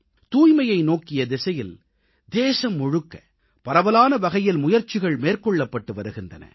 தூய்மையை நோக்கிய திசையில் தேசம் முழுக்க பரவலான வகையில் முயற்சிகள் மேற்கொள்ளப்பட்டு வருகின்றன